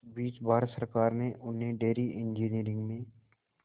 इस बीच भारत सरकार ने उन्हें डेयरी इंजीनियरिंग में